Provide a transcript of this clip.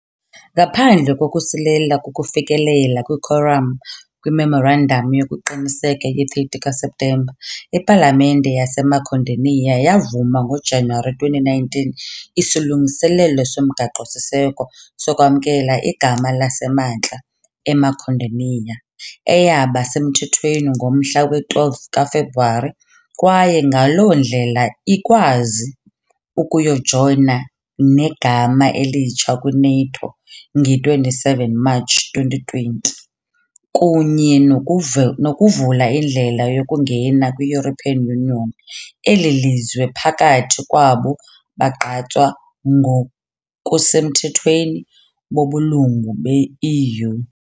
Ngaphandle kokusilela ukufikelela "kwikhoram" kwireferendamu yokuqinisekisa ye-30 kaSeptemba, ipalamente yaseMakedoniya yavuma ngoJanuwari 2019 isilungiselelo somgaqo-siseko sokwamkela igama laseMantla "eMakedoniya", eyaba semthethweni ngomhla we -12 kaFebruwari, kwaye ngaloo ndlela ikwazi ukuyojoyina negama elitsha kwi -NATO nge-27 Matshi 2020 kunye nokuvula indlela yokungena kwi- European Union, elilizwe phakathi kwabo bagqatswa ngokusemthethweni bobulungu be-EU .